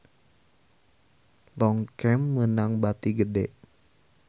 Longchamp meunang bati gede